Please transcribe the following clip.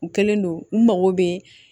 U kɛlen don u mago bɛ